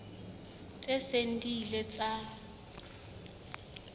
tse seng di ile tsa